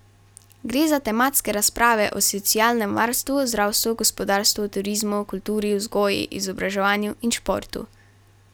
Gre za tematske razprave o socialnem varstvu, zdravstvu, gospodarstvu, turizmu, kulturi, vzgoji, izobraževanju in športu.